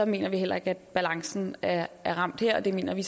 mener vi heller ikke at balancen er er ramt her og det mener vi